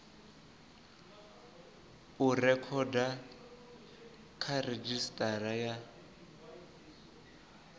u rekhoda kha redzhisitara ya